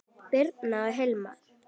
Birna og Hilmar.